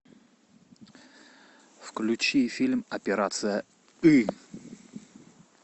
включи фильм операция ы